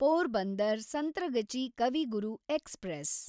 Porbandar Santragachi Kavi Guru express